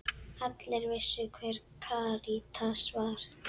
Allir vissu hver Karítas var.